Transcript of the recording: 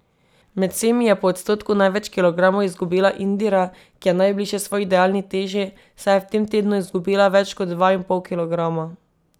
Med vsemi je po odstotku največ kilogramov izgubila Indira, ki je najbližje svoji idealni teži, saj je v tem tednu izgubila več kot dva in pol kilograma.